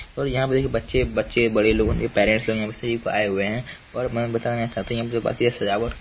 और यहाँ पे देखिए बच्चे बच्चे बड़े लोगों के पेरेंट्स लोग यहाँ से आए हुए हैं और मैं यहाँ बताना चाहता हूँ यहाँ पे जो बाकी है सजावट --